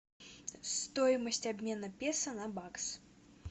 стоимость обмена песо на бакс